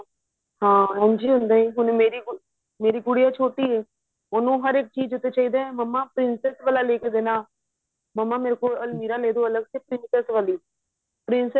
ਹਾਂ ਇੰਜ ਹੀ ਹੁੰਦਾ ਹੁਣ ਹੁਣ ਮੇਰੀ ਗੁਡੀਆ ਛੋਟੀ ਐ ਉਹਨੂੰ ਹਰ ਇੱਕ ਚੀਜ ਉੱਤੇ ਚਾਹਿਦਾ ਮੰਮਾ princess ਵਾਲਾ ਲੇਕੇ ਦੇਣਾ ਮੰਮਾ ਮੇਰੇ ਕੋ Almira ਲੇ ਦੋ ਅਲੱਗ se princess ਵਾਲੀ princess